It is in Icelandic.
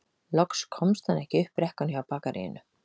Loks komst hann ekki upp brekkuna hjá bakaríinu